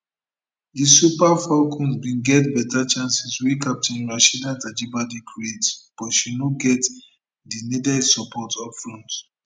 di super falcons bin get beta chances wey captain rasheedat ajibade create but she no get di needed support upfront